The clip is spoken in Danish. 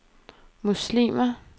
muslimer